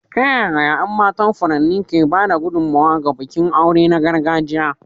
Ta yaya ƴan matan furanni ke ba da gudummawa ga bikin aure na gargajiya?